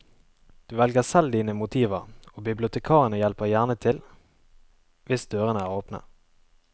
Du velger selv dine motiver og bibliotekarene hjelper gjerne til, hvis dørene er åpne.